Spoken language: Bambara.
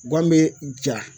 Guwan bɛ ja.